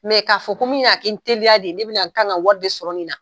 Mɛ k'a fɔ ko min na n teliya de, ne bɛna na n ka kan ka wari de sɔrɔ nin na.